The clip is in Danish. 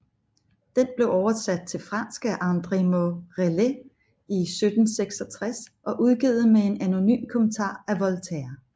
Den blev oversat til fransk af André Morellet i 1766 og udgivet med en anonym kommentar af Voltaire